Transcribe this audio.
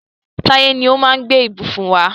Táyé ni ó máa gbé ìbùsùn wá.